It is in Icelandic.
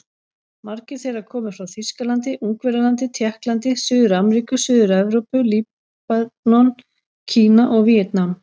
Margir þeirra komu frá Þýskalandi, Ungverjalandi, Tékklandi, Suður-Ameríku, Suður-Evrópu, Líbanon, Kína og Víetnam.